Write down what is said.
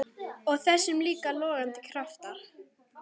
Og þessum líka logandi krafti.